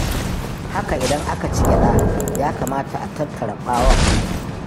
Haka idan aka ci gyaɗa, ya kamata a tattara ɓawon.